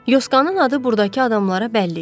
Yoskanın adı burdakı adamlara bəlli idi.